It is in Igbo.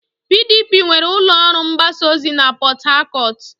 PDP nwere ụlọ ọrụ mgbasa ozi na Port Harcourt.